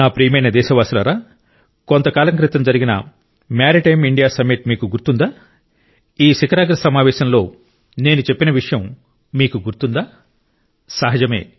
నా ప్రియమైన దేశవాసులారా కొంతకాలం క్రితం జరిగిన మారిటైమ్ ఇండియా సమ్మిట్ మీకు గుర్తుందా ఈ శిఖరాగ్ర సమావేశంలో నేను చెప్పిన విషయం మీకు గుర్తుందా సహజమే